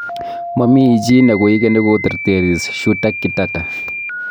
Mamichii ne koigeni koterteris Shuta Kitata